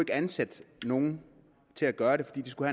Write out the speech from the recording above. ansætte nogen til at gøre det fordi de skulle